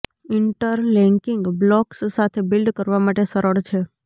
interlocking blocks સાથે build કરવા માટે સરળ છે